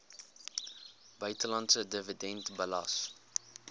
buitelandse dividend belas